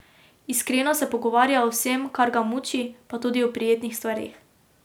Iskreno se pogovarja o vsem, kar ga muči, pa tudi o prijetnih stvareh.